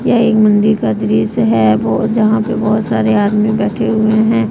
यह एक मंदिर का दृश्य है बहुत यहां पे बहुत सारे आदमी बैठे हुए हैं।